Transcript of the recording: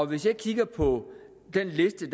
hvis jeg kigger på den liste